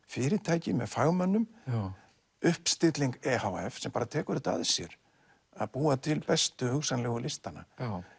fyrirtæki með fagmönnum uppstilling e h f sem bara tekur þetta að sér að búa til bestu hugsanlegu listana